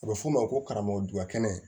A bɛ f'o ma ko karamɔgɔ dugɛnɛ